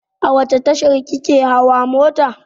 A wace tasha ka ke hawa mota?